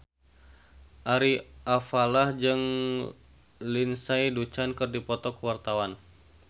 Ari Alfalah jeung Lindsay Ducan keur dipoto ku wartawan